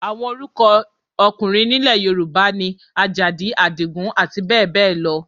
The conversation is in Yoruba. Àwọn orúkọ ọkùnrin nílẹ̀ Yorùbá ni Àlàó, Àjàdí, Àdìgún, abbl.